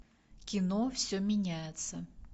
кино все меняется